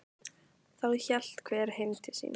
Þá hélt hver heim til sín.